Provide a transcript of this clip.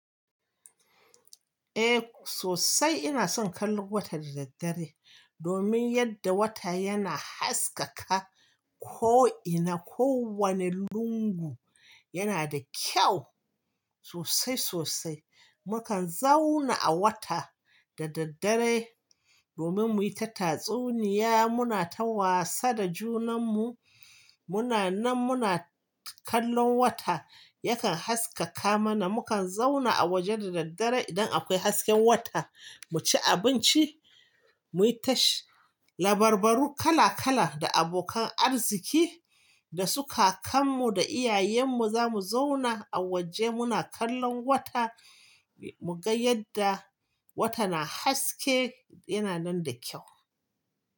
Eh sosai ina son kallon wata da daddare domin yadda wata yana haskaka ko ina kowane lungu yana da kyau sosai sosai. Mukan zauna a wata da daddare domin muyi ta tatsuniya muna ta wasa da junan mu muna nan muna kallon wata yakan haskaka mana mukan zauna a waje da daddare idan akwai hasken wata mu ci abinci muyi ta labarbaru kala kala da abokan arziki da su ka kan mu da iyayen mu zamu zauna a waje muna kallon wata mu ga yadda wata na haske yana nan da kyau.